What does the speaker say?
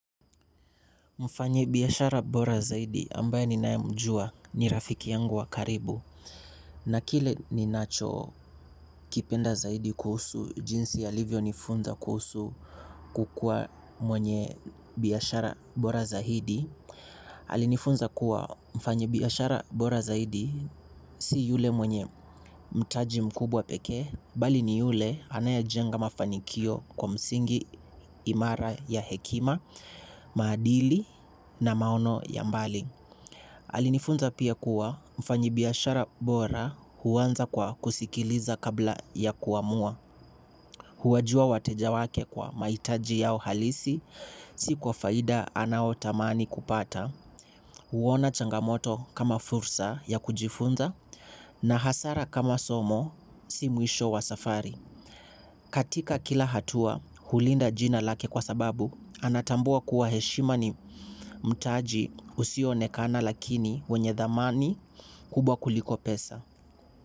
Mfanyi biyashara bora zaidi ambaye ni nae mjua ni rafiki yangu wa karibu. Na kile ni nacho kipenda zaidi kuhusu, jinsi ya Livio nifunza kusu kukua mwenye biyashara bora zaidi. Alinifunza kuwa mfanyi biyashara bora zaidi si yule mwenye mtaji mkubwa peke. Bali ni yule anaya jenga mafanikio kwa msingi imara ya hekima, madili na maono ya mbali. Alinifunza pia kuwa mfanyibiashara bora huwanza kwa kusikiliza kabla ya kuamua. Huwajua watejawake kwa maitaji yao halisi, si kwa faida anaotamani kupata, huwona changamoto kama fursa ya kujifunza na hasara kama somo si muisho wa safari. Katika kila hatua, hulinda jina lake kwa sababu, anatambua kuwa heshima ni mtaji usio nekana lakini wenye dhamani kubwa kuliko pesa.